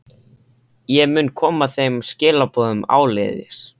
Ég mun koma þeim skilaboðum áleiðis.